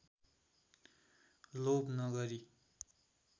लोभ नगरी